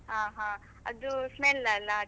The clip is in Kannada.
ಹಾ ಹಾ, ಅದು smell ಅಲ್ಲ.